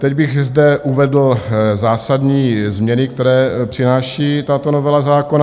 Teď bych zde uvedl zásadní změny, které přináší tato novela zákona.